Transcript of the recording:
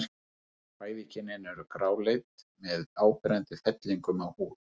Bæði kynin eru gráleit með áberandi fellingum á húð.